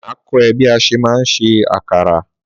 Má kọ e bí a ṣe ma ń ṣe àkàrà